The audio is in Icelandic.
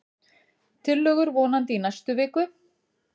Tillögur vonandi í næstu viku